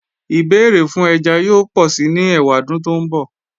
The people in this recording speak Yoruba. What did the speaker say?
Ìbéèrè fún ẹja yóò pọ̀si ní ẹwàdún tó ńbọ̀